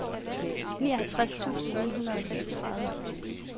nioghalvtreds tusind ni hundrede og seksogtredive